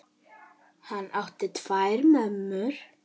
Hann átti tvær mömmur.